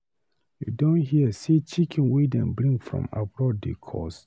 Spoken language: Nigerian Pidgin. You don hear sey chicken wey dem bring from abroad dey cost.